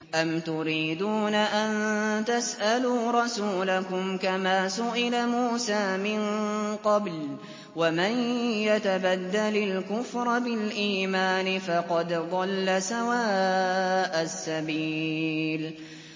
أَمْ تُرِيدُونَ أَن تَسْأَلُوا رَسُولَكُمْ كَمَا سُئِلَ مُوسَىٰ مِن قَبْلُ ۗ وَمَن يَتَبَدَّلِ الْكُفْرَ بِالْإِيمَانِ فَقَدْ ضَلَّ سَوَاءَ السَّبِيلِ